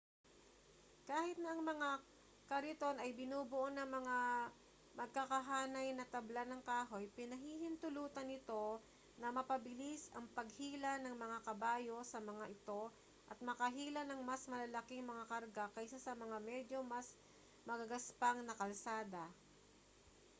kahit na ang mga kariton ay binubuo ng mga magkakahanay na tabla ng kahoy pinahihintulutan nito na mapabilis ang paghila ng mga kabayo sa mga ito at makahila ng mas malalaking mga karga kaysa sa mga medyo mas magagaspang na kalsada